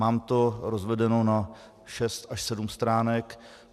Mám to rozvedeno na šest až sedm stránek.